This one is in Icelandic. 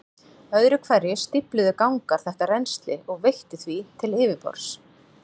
Öðru hverju stífluðu gangar þetta rennsli og veittu því til yfirborðs.